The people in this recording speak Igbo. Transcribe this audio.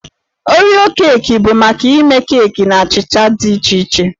Oreo Kuukis bụ maka ịme keeki na achịcha dị iche iche.